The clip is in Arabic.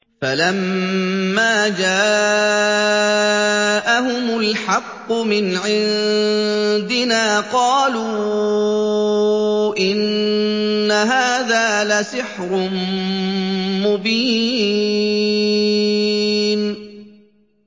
فَلَمَّا جَاءَهُمُ الْحَقُّ مِنْ عِندِنَا قَالُوا إِنَّ هَٰذَا لَسِحْرٌ مُّبِينٌ